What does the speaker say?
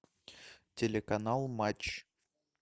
телеканал матч